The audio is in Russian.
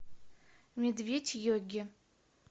медведь йоги